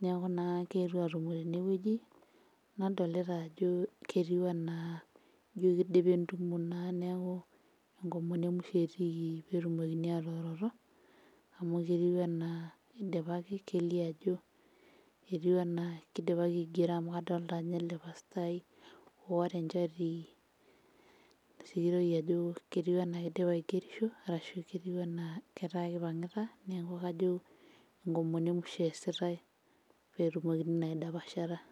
niaku naa kietuo atumo tenewueji nadolita ajo jetiu anaa injio kidipa entumo naa neku enkomono emusho etiiki petumokini atooroto amu ketiu enaa idipaki kelio ajo etiu anaa kidipaki aigero amu kadolta ajo ele pastai oota enchati sikitoi ajo ketiu anaa kidipa aigerisho arashu ketiu enaa ketaa kipang'ita neku kajo enkomono emusho eesitae petumokini naa aidapashata.